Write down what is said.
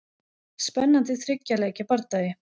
Spennandi þriggja leikja bardagi.